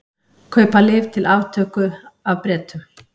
Kaupa lyf til aftöku af Bretum